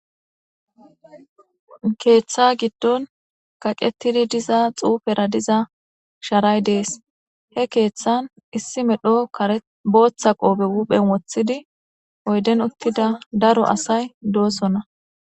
Keeththa giddon kaqetidi diza xuufera diza sharay de7ees. He keethan issi medho kareththa booththa woobe huphohen woththidi oyden uttida daro asay doosona.